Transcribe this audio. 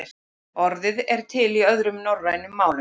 Orðið er til í öðrum norrænum málum.